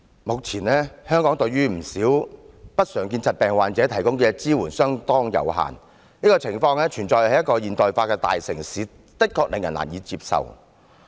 目前，香港對不少不常見疾病的患者所提供的支援相當有限，這個情況存在於一個現代化的大城市，的確令人難以接受。